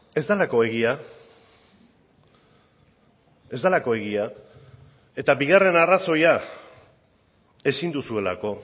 ez delako egia ez delako egia eta bigarren arrazoia ezin duzuelako